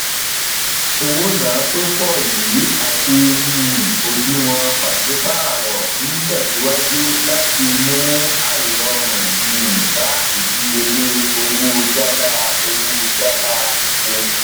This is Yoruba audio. owona to pọ yìí àti um òdiwọn pasipaaro o n tẹsiwaju láti mú airorun um bá ìdíyelé owó jala owó jala epo